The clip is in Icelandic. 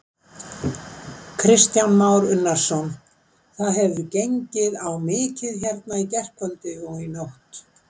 Kristján Már Unnarsson: Það hefur gengið á mikið hérna í gærkvöldi og í nótt?